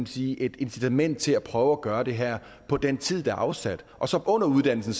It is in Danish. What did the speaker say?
sige et incitament til at prøve at gøre det her på den tid der er afsat og så under uddannelsen